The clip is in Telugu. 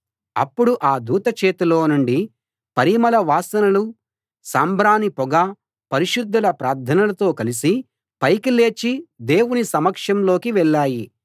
అప్పుడు ఆ దూత చేతిలో నుండి పరిమళ వాసనలు సాంబ్రాణి పొగ పరిశుద్ధుల ప్రార్థనలతో కలసి పైకి లేచి దేవుని సమక్షంలోకి వెళ్ళాయి